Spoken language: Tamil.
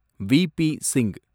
வி.ப். சிங்